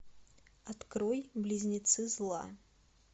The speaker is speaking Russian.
открой близнецы зла